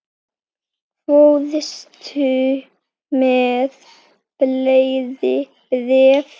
Fórstu með fleiri bréf?